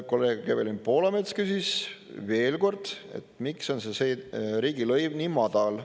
Kolleeg Evelin Poolamets küsis veel kord, et miks on see riigilõiv nii madal.